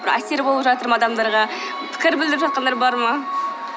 бір әсер болып жатыр ма адамдарға пікір білдіріп жатқандар бар ма